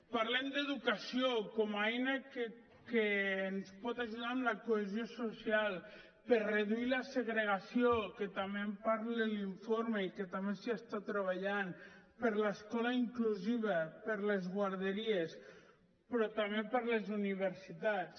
parlem d’educació com a eina que ens pot ajudar en la cohesió social per reduir la segregació que també en parla l’informe i que també s’hi està treballant per l’escola inclusiva per les guarderies però també per les universitats